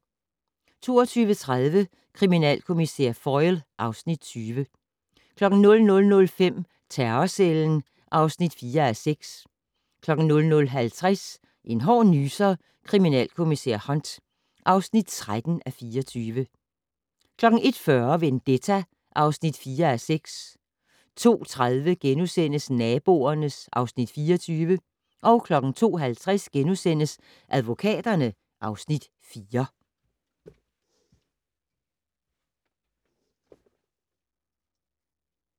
22:30: Kriminalkommissær Foyle (Afs. 20) 00:05: Terrorcellen (4:6) 00:50: En hård nyser: Kommissær Hunt (13:24) 01:40: Vendetta (4:6) 02:30: Naboerne (Afs. 24)* 02:50: Advokaterne (Afs. 4)*